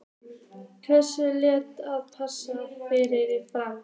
Hverja þarftu helst að passa í liði Fram?